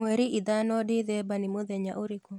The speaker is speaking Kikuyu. mwerĩ ithano dithemba ni mũthenya ũrĩkũ